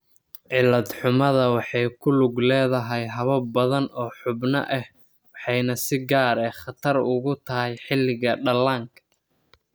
Cilad-xumada waxay ku lug leedahay habab badan oo xubno ah waxayna si gaar ah khatar ugu tahay xilliga dhallaanka.